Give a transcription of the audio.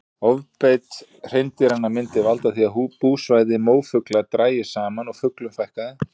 Ofbeit hreindýranna myndi valda því að búsvæði mófugla drægist saman og fuglum fækkaði.